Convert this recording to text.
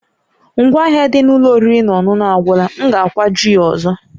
Ngwa ahịa dị n'ụlọ oriri na ọṅụṅụ agwụla, m ga-akwaju ya ọzọ